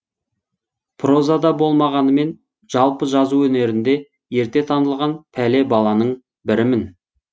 прозада болмағанымен жалпы жазу өнерінде ерте танылған пәле баланың бірімін